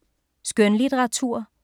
Skønlitteratur